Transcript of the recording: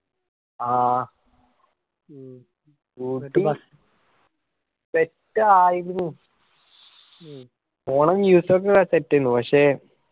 ആ route set ആയിക്കുണു. ഓള കേട്ടിട്ടിണ്ട് പഷേ